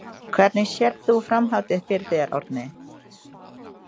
Hvernig sérð þú framhaldið fyrir þér Árni?